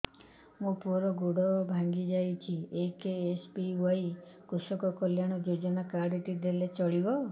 ମୋ ପୁଅର ଗୋଡ଼ ଭାଙ୍ଗି ଯାଇଛି ଏ କେ.ଏସ୍.ବି.ୱାଇ କୃଷକ କଲ୍ୟାଣ ଯୋଜନା କାର୍ଡ ଟି ଦେଲେ ଚଳିବ